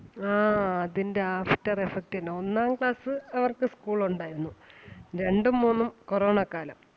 ആ അതിന്റെ after effect തന്നെ. ഒന്നാം class അവർക്ക് school ഒണ്ടാരുന്നു രണ്ടും മൂന്നും corona കാലം.